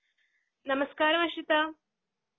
നമസ്കാരം അഷിത.